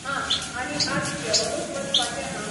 हां आनी आयज जेंवनूच वचपाचें हां